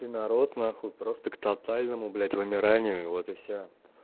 и народ нахуй просто к тотальному блять вымиранию вот и всё